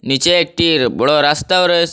নীচে একটি বড় রাস্তাও রয়েস--